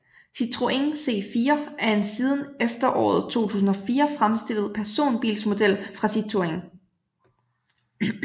Citroën C4 er en siden efteråret 2004 fremstillet personbilsmodel fra Citroën